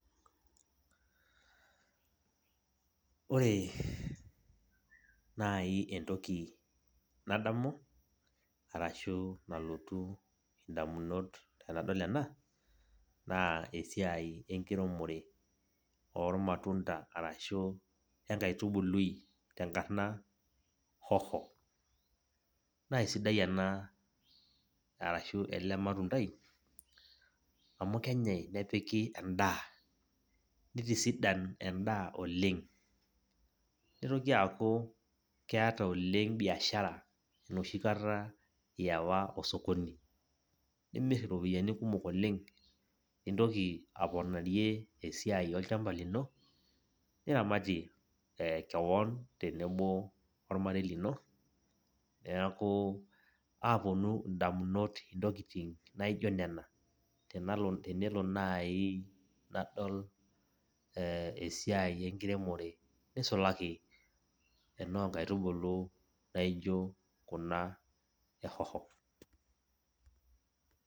Ore nai entoki nadamu, arashu nalotu indamunot tenadol ena, naa esiai enkiremore ormatunda arashu enkaitubului tenkarna hoho. Nasidai ena arashu ele matundai, amu kenyai nepiki endaa, nitisidan endaa oleng. Nitoki aku keeta oleng' biashara enoshi kata iiwa osokoni nimimirr iropiyiani kumok oleng, nintoki aponarie esiai olchamba lino, niramatie keon tenebo ormarei lino. Neeku aponu indamunot intokiting' naijo nena, tenelo nai nadol esiai enkiremore, nisulaki enoo nkaitubulu naijo kuna e hoho.